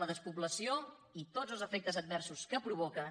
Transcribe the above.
la despoblació i tots els efectes adversos que provoca